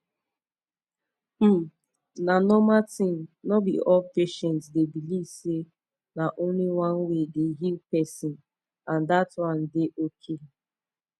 um na normal thing no be all patient dey believe say na only one way dey heal person and that one dey ok